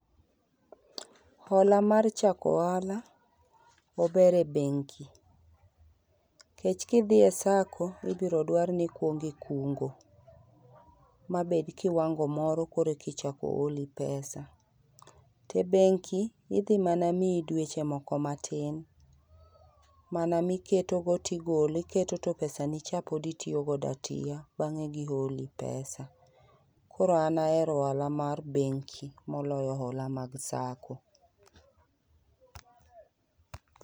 Hola mar chako ohala, ober e bengi. Nikech kidhi e sacco, ibiro dwar nikuongo ikungo, mabed kiwango moro korkichako holi pesa. To ebengi, idhi mana miyi dweche moko matin mana miketo go tigolo, iketo to pesani cha pod itiyo godo atiya bang'e giholi pesa. Koro an ahero hola mar bengi moloyo hola mag sacco.